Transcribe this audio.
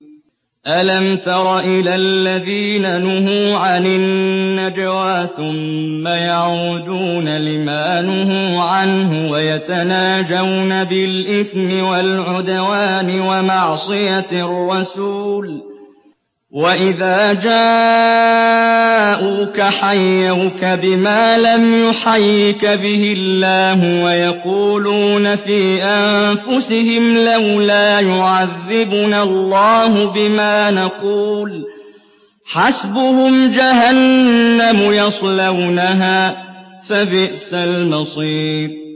أَلَمْ تَرَ إِلَى الَّذِينَ نُهُوا عَنِ النَّجْوَىٰ ثُمَّ يَعُودُونَ لِمَا نُهُوا عَنْهُ وَيَتَنَاجَوْنَ بِالْإِثْمِ وَالْعُدْوَانِ وَمَعْصِيَتِ الرَّسُولِ وَإِذَا جَاءُوكَ حَيَّوْكَ بِمَا لَمْ يُحَيِّكَ بِهِ اللَّهُ وَيَقُولُونَ فِي أَنفُسِهِمْ لَوْلَا يُعَذِّبُنَا اللَّهُ بِمَا نَقُولُ ۚ حَسْبُهُمْ جَهَنَّمُ يَصْلَوْنَهَا ۖ فَبِئْسَ الْمَصِيرُ